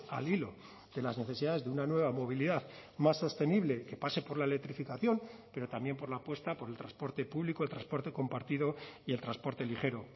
al hilo de las necesidades de una nueva movilidad más sostenible que pase por la electrificación pero también por la apuesta por el transporte público transporte compartido y el transporte ligero